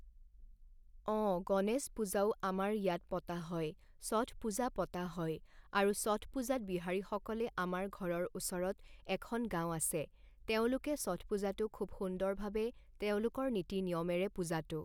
অঁ গণেশ পূজাও আমাৰ ইয়াত পতা হয় ষঠ পূজা পতা হয় আৰু ষঠ পূজাত বিহাৰীসকল আমাৰ ঘৰৰ ওচৰত এখন গাঁও আছে তেওঁলোকে ষঠ পূজাটো খুব সুন্দৰভাবে তেওঁলোকৰ নীতিনিয়মেৰে পূজাটো